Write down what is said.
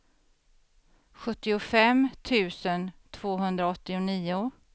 sjuttiofem tusen tvåhundraåttionio